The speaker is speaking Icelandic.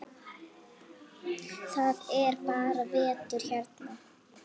Það er bara vetur hérna.